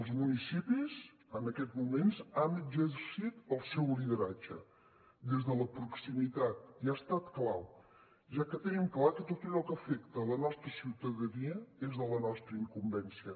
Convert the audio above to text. els municipis en aquests moments han exercit el seu lideratge des de la proximitat i ha estat clau ja que tenim clar que tot allò que afecta la nostra ciutadania és de la nostra incumbència